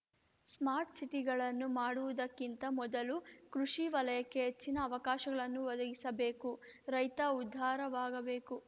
smart ಸಿಟಿಗಳನ್ನು ಮಾಡುವುದಕ್ಕಿಂತ ಮೊದಲು ಕೃಷಿ ವಲಯಕ್ಕೆ ಹೆಚ್ಚಿನ ಅವಕಾಶಗಳನ್ನು ಒದಗಿಸಬೇಕು ರೈತ ಉದ್ಧಾರವಾಗಬೇಕು